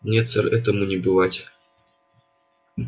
нет сэр этому не бывать